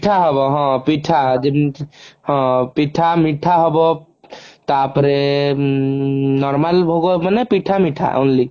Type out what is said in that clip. ହଁ ପିଠା ହେବ ଯେମତି ହଁ ପିଠା ମିଠା ହବ ତା ପରେ ଉଁ normal ଭୋଗ ମାନେ ପିଠା ମିଠା only